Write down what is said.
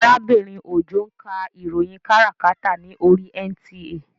Arábìnrin Òjó ń ka ìròyìn káràkátà ní oríi NTA